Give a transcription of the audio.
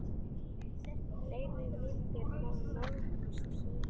Fleiri myndir má nálgast hér